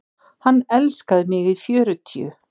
Hann elskaði mig í fjörutíu.